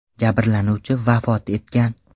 Jabrlanuvchi vafot etgan.